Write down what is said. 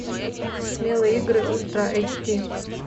смелые игры ультра эйч ди